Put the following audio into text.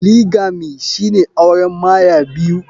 Polygamy shine auren Maya biyu.